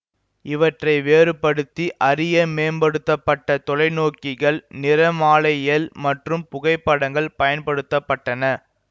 இவற்றை வேறுபடுத்தி அறிய மேம்படுத்த பட்ட தொலைநோக்கிகள் நிறமாலையியல் மற்றும் புகைப்படங்கள் பயன்படுத்த பட்டன